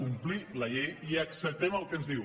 complir la llei i acceptem el que ens diu